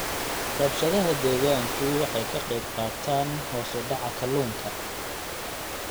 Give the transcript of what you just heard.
Rabshadaha deegaanku waxay ka qayb qaataan hoos u dhaca kalluunka.